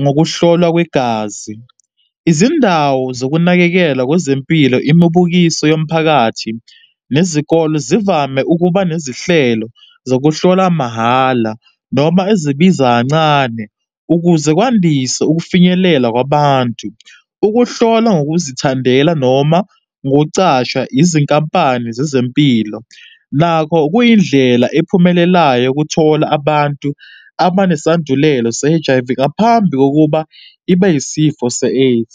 ngokuhlolwa kwegazi. Izindawo zokunakekela kwezempilo, imibukiso yomphakathi nezikolo zivame ukuba nezihlelo zokuhlola mahhala, noma ezibiza kancane ukuze kwandise ukufinyelela kwabantu. Ukuhlolwa ngokuzithandela noma ngocashwa yizinkampani zezempilo nakho kuyindlela ephumelelayo ukuthola abantu abanesandulelo se-H_I_V ngaphambi kokuba ibe isifo se-AIDS.